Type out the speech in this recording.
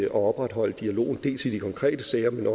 at opretholde dialogen dels i de konkrete sager men